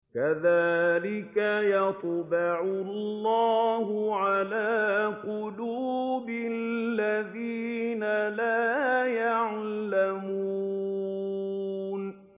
كَذَٰلِكَ يَطْبَعُ اللَّهُ عَلَىٰ قُلُوبِ الَّذِينَ لَا يَعْلَمُونَ